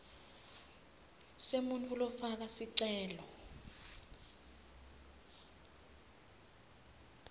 semuntfu lofaka sicelo